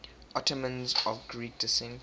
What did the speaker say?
ottomans of greek descent